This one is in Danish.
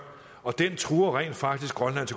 og den truer rent faktisk grønlands